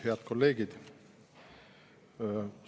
Head kolleegid!